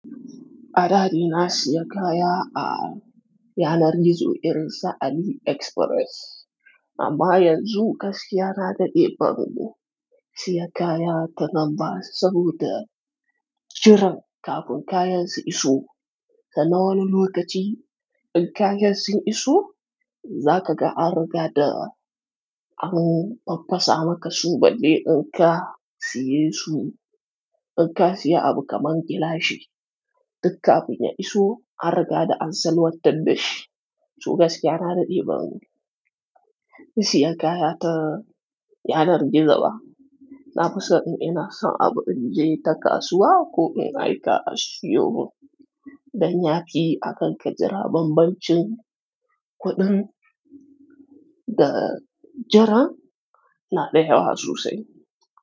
Ada dai na siya kaya a yanar gizo irin su Ali Express. Amma yanzu gaskiya na da daɗe ban siya kaya ta nan ba saboda jiran kafin kayan su iso. Sanna wani lokaci in kayan sun iso, za ka ga an riga da an faffasa maka su balle in ka siye su. In ka siya abu kaman gilashi, tun kafin ya iso an riga da an salwantar da shi. So gaskiya na daɗe ban siya kaya ta yanar gizo ba. Na fi so in ina son abu in je ta kasuwa ko in aika asuyo min dan ya fi akan ka jira bambancin kuɗin da jiran na da yawa sosai.